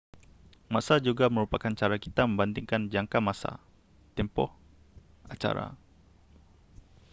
masa juga merupakan cara kita membandingkan jangka masa tempoh acara